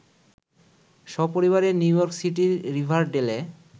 সপরিবারে নিউইয়র্ক সিটির রিভারডেলে